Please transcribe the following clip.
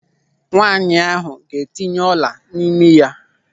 Nwaanyị ahụ ga-etinye ọla n'imi ya.